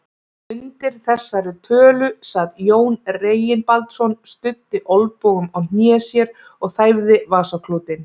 Undir þessari tölu sat Jón Reginbaldsson, studdi olnbogum á hné sér og þæfði vasaklútinn.